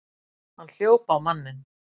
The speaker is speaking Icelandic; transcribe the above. Hann hljóp á manninn!